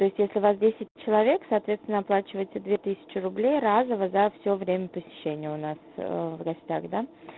если вас десять человек соответственно оплачивайте две тысячи рублей разово за все время посещения у нас в гостях